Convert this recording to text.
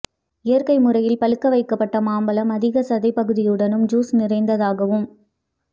இயற்கை முறையில் பழுக்க வைக்கப்பட்ட மாழ்பழம் அதிக சதைப்பகுதியுடனும் ஜூஸ் நிறைந்ததாகவும்